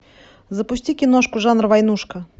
запусти киношку жанра войнушка